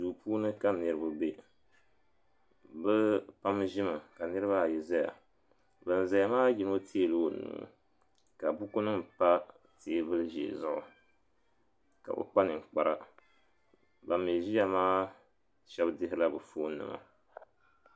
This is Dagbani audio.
Duu puuni ka niriba be bɛ pam ʒimi ka niriba ayi zaya ban zaya maa yino teegi la o nuu ka buku nima pa teebuli ʒee zuɣu ka o kpa ninkpara ban mi ʒiya maa shɛba dihirila bɛ fooni nima.